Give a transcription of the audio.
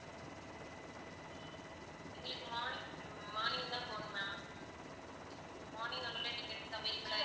எங்களுக்கு morning, morning தான் போகணும் ma'am morning உங்ககிட்ட tickets available லா